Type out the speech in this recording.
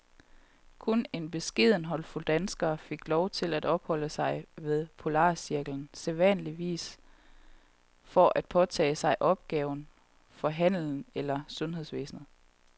Kun en beskeden håndfuld danskere fik lov til at opholde sig ved polarcirklen, sædvanligvis for at påtage sig opgaver for handlen eller sundhedsvæsenet.